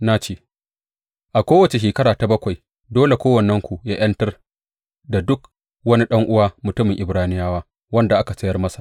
Na ce, A kowace shekara ta bakwai dole kowannenku yă ’yantar da duk wani ɗan’uwa mutumin Ibraniyawa wanda aka sayar masa.